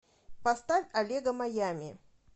поставь олега маями